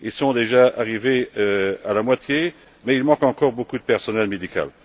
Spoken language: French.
Ils sont déjà arrivés à la moitié, mais il manque encore beaucoup de personnel médical.